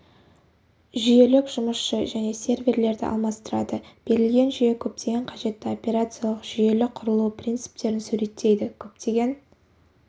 жүйелі жұмысшы және серверлерді алмастырады берілген жүйе көптеген қажетті операциялық жүйелі құрылу принциптерін суреттейді көптеген